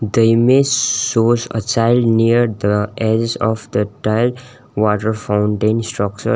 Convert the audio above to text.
the image shows a child near the edge of the tiled water fountain structure.